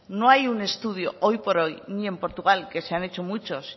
no hay un estudio hoy por hoy ni en portugal que se han hecho muchos